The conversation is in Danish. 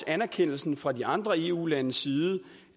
anerkendelsen fra de andre eu landes side